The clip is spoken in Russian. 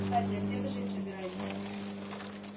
кстати а где вы жить собираетесь